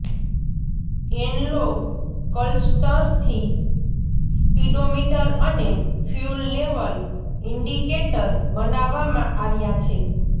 analogue ક્લસ્ટરથી સ્પીડોમીટરઅને fuel level indicator બનાવવામાં આવ્યા છે